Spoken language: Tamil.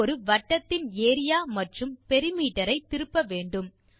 அது ஒரு வட்டத்தின் ஏரியா மற்றும் பெரிமீட்டர் ஐ திருப்ப வேண்டும்